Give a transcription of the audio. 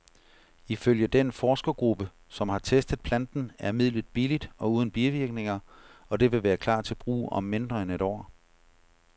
Ifølge den forskergruppe, som har testet planten, er midlet billigt og uden bivirkninger, og det vil klar til brug om mindre end et år.